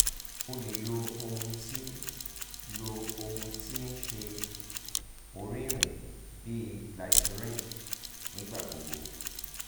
o le lo ohun ti lo ohun ti n ṣe ọrinrinrin bi glycerin nigbagbogbo